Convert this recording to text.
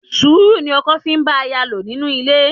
Sùúrù ni ọkọ fi ń bá aya lò nínú ilé.